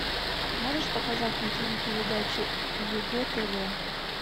можешь показать на ти ви передачу егэ тв